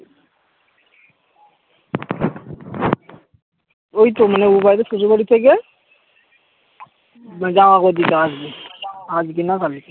ঐতো মানে ওই বাড়ি পুজোর বাড়ি থেকে হম জামা গুলো দিতে আসবে আজকে না কালকে